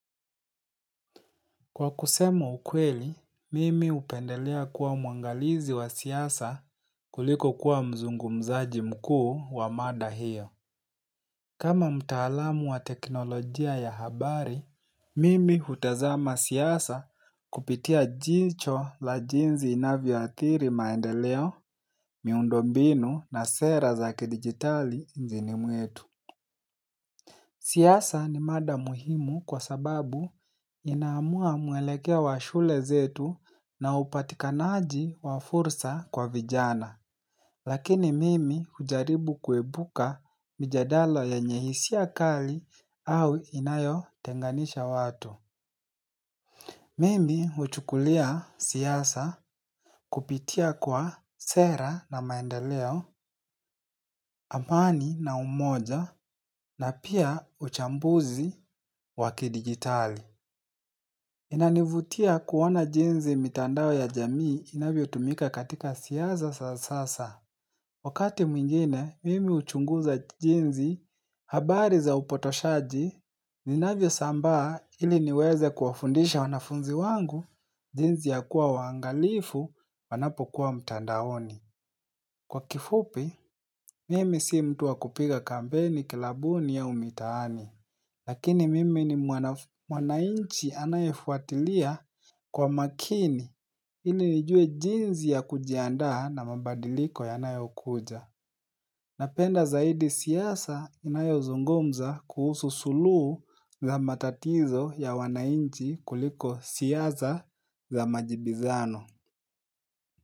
Kwa kusemu ukweli, mimi hupendelea kuwa muangalizi wa siasa kuliko kuwa mzungu mzaji mkuu wa mada hiyo. Kama mtaalamu wa teknolojia ya habari, mimi hutazama siasa kupitia jicho la jinzi inavyoathiri maendeleo, miundo binu na sera zakidigitali nchini mwetu. Siasa ni mada muhimu kwa sababu inaamua mwelekea wa shule zetu na upatikanaji wa fursa kwa vijana. Lakini mimi hujaribu kuepuka mijadala yenye hisia kali au inayo tenganisha watu. Mimi huchukulia siasa kupitia kwa sera na maendeleo, amani na umoja na pia uchambuzi wakidigitali. Inanivutia kuona jensi mitandao ya jamii inavyo tumika katika siasa za sasa. Wakati mwingine, mimi huchunguza jensi habari za upotoshaji. Inavyo sambaa ili niweze kuwafundisha wanafunzi wangu jensi ya kuwa wangalifu wanapokuwa mtandaoni. Kwa kifupi, mimi sii mtu wa kupiga kampeini kilabuni au mitaani. Lakini mimi ni mwananchi anayefuatilia kwa makini ili nijue jinsi ya kujiandaa na mabadiliko yanayokuja. Napenda zaidi siasa inayozungumza kuhusu suluhu za matatizo ya wananchi kuliko siasa za majibizano.